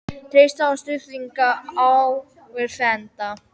Treysta á stuðning áhorfenda